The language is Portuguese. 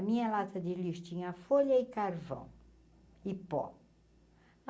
A minha lata de lixo tinha folha e carvão e pó.